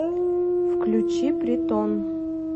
включи притон